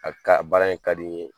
A bi ka baara in ka di n ye